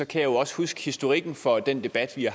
kan jeg også huske historikken for den debat vi